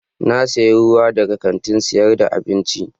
Na sayi ruwa daga kantin sayar da abinci.